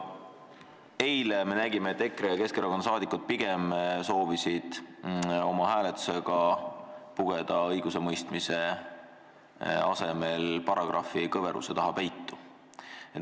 Eile me nägime, et EKRE ja Keskerakonna liikmed soovisid hääletuse ajal pugeda õigusemõistmise asemel pigem paragrahvikõveruse taha peitu.